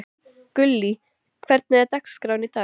Gullý, hvernig er dagskráin í dag?